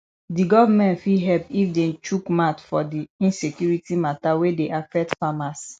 di government fit help if dem chook mouth for di insecurity matter wey dey affect farmers